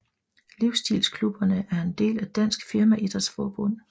Livsstilsklubberne er en del af Dansk Firmaidrætsforbund